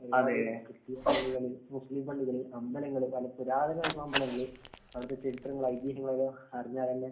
അതേ. ക്രിസ്തീയ പള്ളികള്‍, മുസ്ലിം പള്ളികള്‍, അമ്പലങ്ങള്‍, വളരെ പുരാതനമായിട്ടുള്ള അമ്പലങ്ങള്‍, അവിടത്തെ ചരിത്രങ്ങള്‍, ഐതീഹ്യങ്ങള്‍ അറിഞ്ഞാല്‍ തന്നെ